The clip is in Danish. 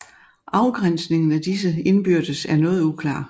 Afgrænsningen af disse indbyrdes er noget uklar